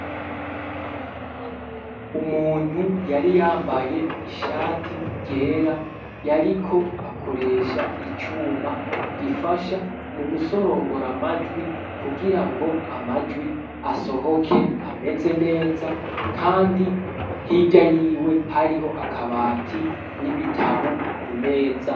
Umuntu yari yambaye ishati ryera yariko akoresha icuma gifasha mu gusorongora amajwi kugira ngo amajwi asohoke ameze neza kandi hirya yiwe hariho akabati n'ibitabu ku meza.